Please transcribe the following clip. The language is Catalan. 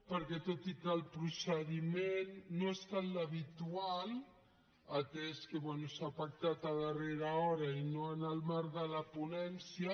perquè tot i que el procediment no ha estat l’habitual atès que bé s’ha pactat a darrera hora i no en el marc de la ponència